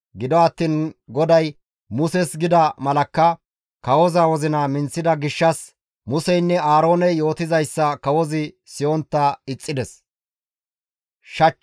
Gido attiin GODAY Muses gida malakka kawoza wozina minththida gishshas Museynne Aarooney yootizayssa kawozi siyontta ixxides.